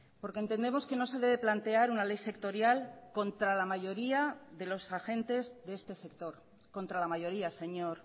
porque entendemos que no se debe plantear una ley sectorial contra la mayoría de los agentes de este sector contra la mayoría señor